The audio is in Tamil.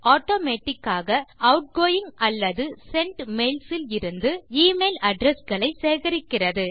ஆட்டோமேட்டிக் ஆக ஆட்கோயிங் அல்லது சென்ட் மெயில்ஸ் இலிருந்து எமெயில் அட்ரெஸ் களை சேகரிக்கிறது